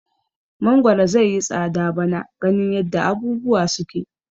Mangoro zaiyi tsada bana ganin yadda abubuwa suke.